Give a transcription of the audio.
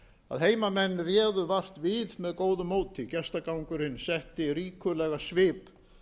að heimamenn réðu vart við með góðu móti gestagangurinn setti ríkulegan svip